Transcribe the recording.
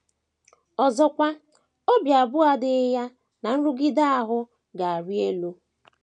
Ọzọkwa, obi abụọ adịghị ya na nrụgide ahụ ga - arị elu.